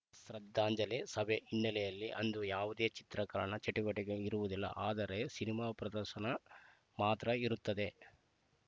ಶ್ರದ್ಧಾಂಜಲಿ ಸಭೆ ಹಿನ್ನೆಲೆಯಲ್ಲಿ ಅಂದು ಯಾವುದೇ ಚಿತ್ರೀಕರಣ ಚಟುವಟಿಕೆಗಳು ಇರುವುದಿಲ್ಲ ಆದರೆ ಸಿನಿಮಾ ಪ್ರದರ್ಶನ ಮಾತ್ರ ಇರುತ್ತದೆ